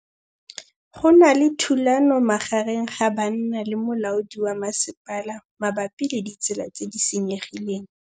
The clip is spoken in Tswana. Go na le thulanô magareng ga banna le molaodi wa masepala mabapi le ditsela tse di senyegileng.